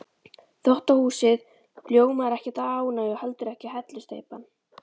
Þvottahúsið ljómar ekkert af ánægju og heldur ekki hellusteypan.